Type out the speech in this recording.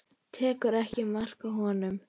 Tekur ekki mark á honum.